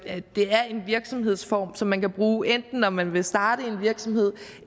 er en virksomhedsform som man kan bruge enten når man vil starte en virksomhed